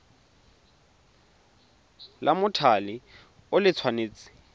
la mothale o le tshwanetse